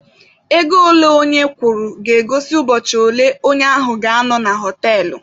Ego ole onye kwụrụ ga-egosi ụbọchị ole onye ahụ ga-anọ na họtelụ